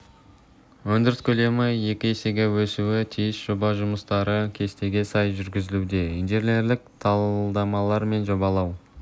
өндіріс көлемі екі есеге өсуі тиіс жоба жұмыстары кестеге сай жүргізілуде инженерлік талдамалар мен жобалау